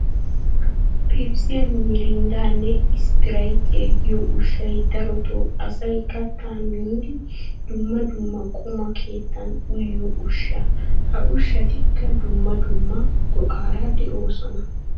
Pepisiya, miirinddaanne isppiraytiya giyo ushshay darotoo asay kattaa miiddi dumma dumma quma keettan uyiyo ushsha. Ha ushshatikka dumma dumma go'aara de'oosona.